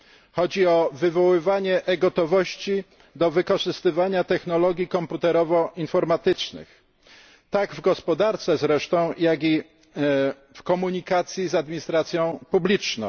Chodzi o wywoływanie e gotowości do wykorzystywania technologii komputerowo informatycznych, tak w gospodarce zresztą, jak i w komunikacji z administracją publiczną.